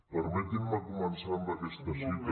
permetin me començar amb aquesta cita